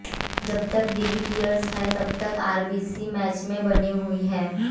जब तक डिविलियर्स हैं तब तक आरसीबी मैच में बनी हुई है